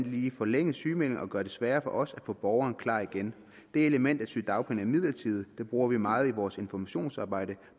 lige forlænge sygemeldingen og gøre det sværere for os at få borgeren klar igen det element at sygedagpenge er midlertidige det bruger vi meget i vores informationsarbejde